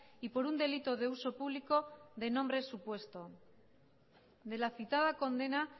y por un delito de uso público de nombre supuesto de la citada condena